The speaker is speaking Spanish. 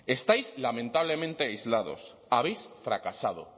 estáis lamentablemente aislados habéis fracasado